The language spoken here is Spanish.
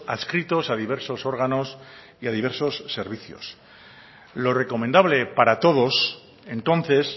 adscritos a diversos órganos y a diversos servicios lo recomendable para todos entonces